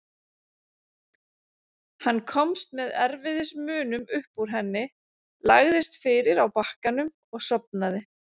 Hann komst með erfiðismunum upp úr henni, lagðist fyrir á bakkanum og sofnaði.